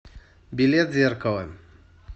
билет зеркало